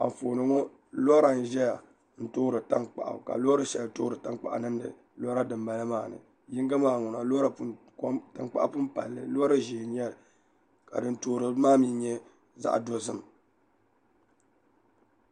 Anfooni ŋo lora n ʒɛya n toori tankpaɣu ka loori shɛli toori tankpaɣu niŋdi lora din bala maa ni yinga maa ŋuna tankpaɣu pun palli li mi loori ʒiɛ n nyɛli ka din toorili maa mii nyɛ zaɣ dozim